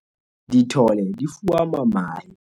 dithole di fuama mahe